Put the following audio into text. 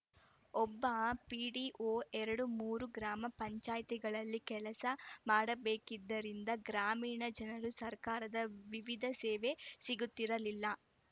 ಒಬ್ಬ ಪಿಡಿಒ ಎರಡುಮೂರು ಗ್ರಾಮ ಪಂಚಾಯಿತಿಗಳಲ್ಲಿ ಕೆಲಸ ಮಾಡಬೇಕಿದ್ದರಿಂದ ಗ್ರಾಮೀಣ ಜನರು ಸರ್ಕಾರದ ವಿವಿಧ ಸೇವೆ ಸಿಗುತ್ತಿರಲಿಲ್ಲ